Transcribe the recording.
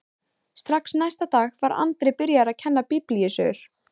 Strax næsta dag var Andri byrjaður að kenna biblíusögur.